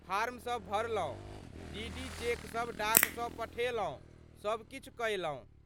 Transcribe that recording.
फॉर्मसभ भरलहुँ, डीडी चेकसभ डाकसँ पठेलहुँ, सभ किछु कयलहुँ।